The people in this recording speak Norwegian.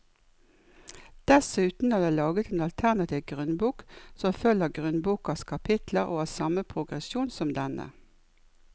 Dessuten er det laget en alternativ grunnbok som følger grunnbokas kapitler og har samme progresjon som denne.